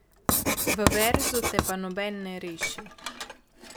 V verzu te pa noben ne reši.